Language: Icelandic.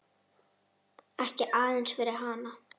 Ekki aðeins fyrir hana.